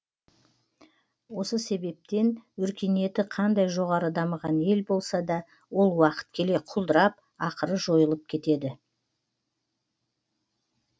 осы себептен өркениеті қандай жоғары дамыған ел болса да ол уақыт келе құлдырап ақыры жойылып кетеді